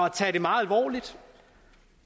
at tage det meget alvorligt